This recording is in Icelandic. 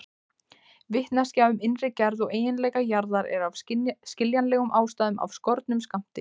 Vitneskja um innri gerð og eiginleika jarðar er af skiljanlegum ástæðum af skornum skammti.